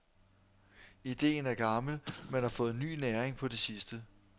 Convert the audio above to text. Ideen er gammel, men har fået ny næring på det sidste.